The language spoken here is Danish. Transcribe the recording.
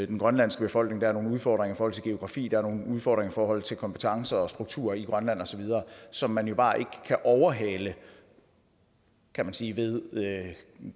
den grønlandske befolkning der er nogle udfordringer til geografi der er nogle udfordringer i forhold til kompetencer og struktur i grønland osv som man jo bare ikke kan overhale kan man sige ved